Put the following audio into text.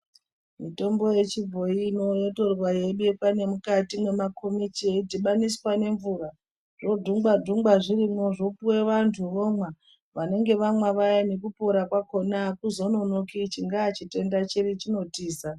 Mitombo yechibhoyi ino yotorwa yeibekwa nemukati nemakomichi, yeidhibaniswa ngemvura, zvodhungwa dhungwa zvirimwo zvopuwe vantu vomwa, vanenge vamwa vayani, nekupora kwakona akuzononoki chingaa chitenda chiri chinotiza.